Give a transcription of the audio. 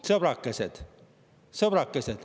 Sõbrakesed!